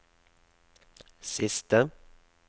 siste